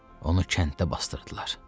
Onu kənddə basdırdılar.